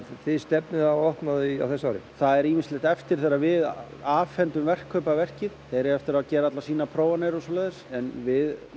þið stefnið á að opna þau á þessu ári það er ýmislegt eftir þegar við afhendum verkkaupa verkið þeir eiga eftir að gera sínar prófanir og svoleiðis en við